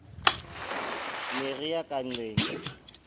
ne re ya ka nnqeng